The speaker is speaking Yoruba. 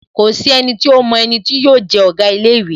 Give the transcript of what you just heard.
Kòsí enití ómo eni tí yóò je Òga ilé īwé